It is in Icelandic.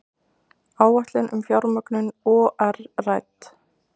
Áætlun um fjármögnun OR rædd